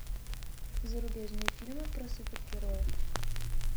зарубежные фильмы про супергероев